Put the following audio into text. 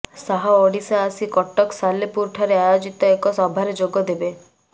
ଶାହ ଓଡ଼ିଶା ଆସି କଟକ ସାଲେପୁରଠାରେ ଆୟୋଜିତ ଏକ ସଭାରେ ଯୋଗଦେବେ